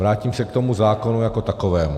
Vrátím se k tomu zákonu jako takovému.